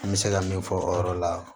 N bɛ se ka min fɔ o yɔrɔ la